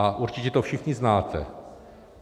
A určitě to všichni znáte.